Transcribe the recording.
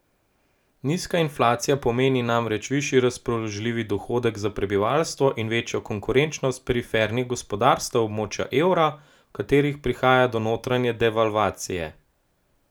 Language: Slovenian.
Nizka inflacija pomeni namreč višji razpoložljivi dohodek za prebivalstvo in večjo konkurenčnost perifernih gospodarstev območja evra, v katerih prihaja do notranje devalvacije.